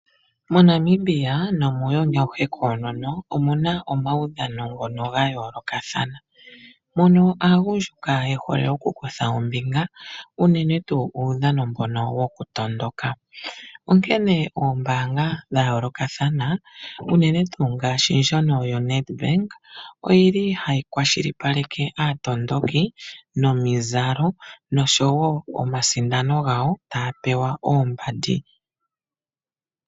MoNamibia nomuuyuni auhe koonono omuna omaudhano ga yoolokathana, moka aagundjuka ye hole okukutha ombinga unene tuu uudhano mbono wokutondoka, onkene oombaanga dha yoolokathana unene tuu ndjoka yaNedbank ohayi kwashilipaleke aatondoki nomizalo noshowo omasindano gawo taya pewa oombandi.